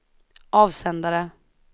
avsändare